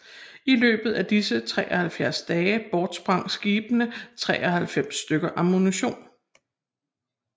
I løbet af disse 73 dage bortsprang skibene 93 stykker ammunition